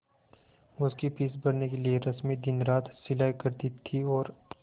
उसकी फीस भरने के लिए रश्मि दिनरात सिलाई करती थी और